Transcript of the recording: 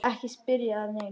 Ekki spyrja að neinu!